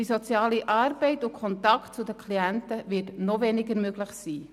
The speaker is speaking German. Die soziale Arbeit und der Kontakt zu den Klienten werden noch weniger möglich sein.